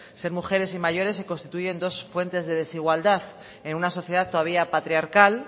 ser mujeres y mayores se constituye en dos fuentes de desigualdad en una sociedad todavía patriarcal